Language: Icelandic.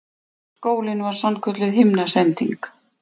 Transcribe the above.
Skólinn var sannkölluð himnasending.